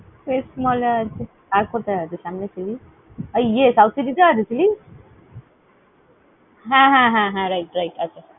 Quest mall এ আছে। আর কথায় আছে সামনে Chilli's? আহ ইয়ে South City তে আছে Chili? হ্যাঁ, হ্যাঁ, হ্যাঁ, হ্যাঁ, right right ।